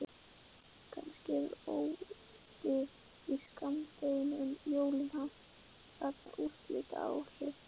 Kannski hefur óyndið í skammdeginu um jólin haft þarna úrslitaáhrif.